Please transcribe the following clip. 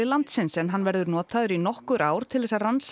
landsins en hann verður notaður í nokkur ár til þess að rannsaka